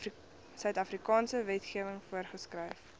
suidafrikaanse wetgewing voorgeskryf